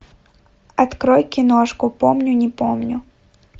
открой киношку помню не помню